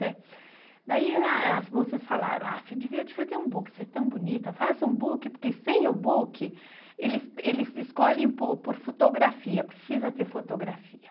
Daí as moças falaram, ah, você devia fazer um book, ser tão bonita, faça um book, porque sem o book, eles escolhem por fotografia, precisa ter fotografia.